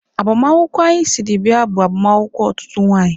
Agbamakwụkwọ anyị siri bịa bụ agbamakwụkwọ otutu nwanyị.